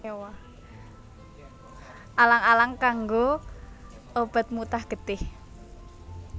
Alang alang kanggo obat mutah getih